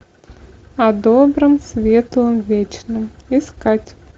о добром светлом вечном искать